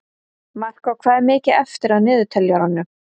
Markó, hvað er mikið eftir af niðurteljaranum?